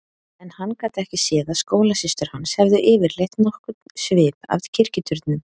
En hann gat ekki séð að skólasystur hans hefðu yfirleitt nokkurn svip af kirkjuturnum.